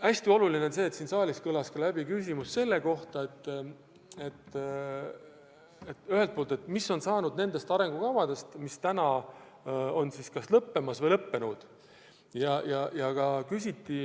Hästi oluline on see – ka siin saalis kõlas küsimus selle kohta –, mis on saanud arengukavadest, mis on praegu lõppemas või juba lõppenud.